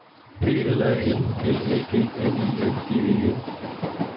P L A N L Æ G N I N G E N